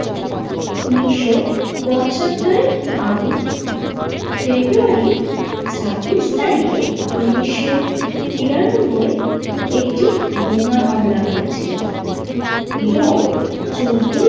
উনিশশো পঁচাত্তরের আগুন ফেব্রুয়ারির ছাব্বিশ তারিখে উনিশশো তিরানব্বই একটি বোমা হামলা হয়েছিল এবং চোদ্দোয়।